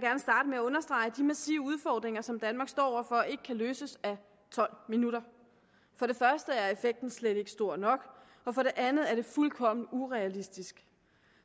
gerne starte med at understrege at de massive udfordringer som danmark står over for ikke kan løses af tolv minutter for det første er effekten slet ikke stor nok og for det andet er det fuldkommen urealistisk